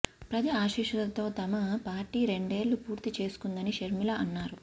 ప్రజల ఆశీస్సులతో తమ పార్టీ రెండేళ్లు పూర్తి చేసుకుందని షర్మిల అన్నారు